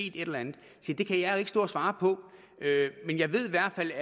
et eller andet se det kan jeg jo ikke stå og svare på men jeg ved i hvert fald